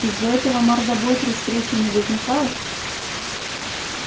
из-за этого мордобой при встрече не возникает